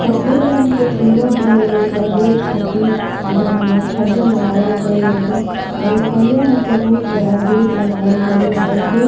सफ़ेद रंग के पिलर दिहल गइल बा गेट खाती आ जौना में छज्जा लगवाल गइल बाटे आ एगो करिया रंग के बहुत बड़ा गेट लगावल गइल बाटे। गेट --